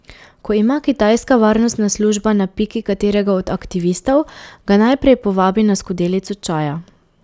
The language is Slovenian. Ko ima kitajska varnostna služba na piki katerega od aktivistov, ga najprej povabi na skodelico čaja.